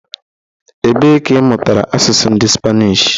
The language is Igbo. Ebe ka ị mụtara asụsụ ndị Spanish?